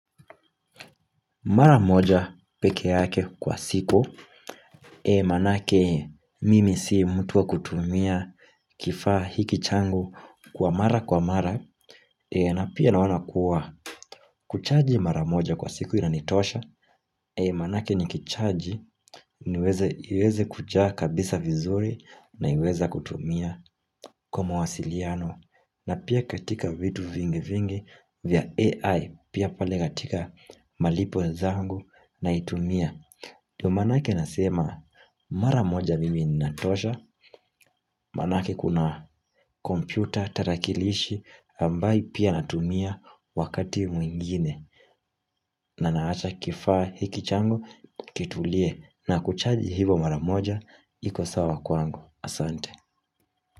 Mara moja pekee yake kwa siku, maanake, mimi si mtu wa kutumia, kifaa hiki changu kwa mara kwa mara, na pia, naona kuwa, kuchaji maramoja kwa siku ina nitosha, manake nikichaji iweze kujaa kabisa vizuri, na iweza kutumia kwa mwasiliano, na pia katika vitu vingi vingi vya AI, pia pale katika malipo zangu naitumia. Ndio manake nasema, mara moja mimi ninatosha maanake kuna kompyuta, tarakilishi ambaye pia natumia wakati mwingine na naacha kifaa hiki changu kituulie, na kuchaji hivo mara moja ikosawa kwangu. Asante.